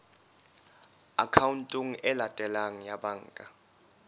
akhaonteng e latelang ya banka